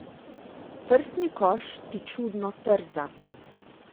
Prsni koš ti čudno trza.